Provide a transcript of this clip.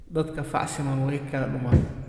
Dadka fac siman way kala duman.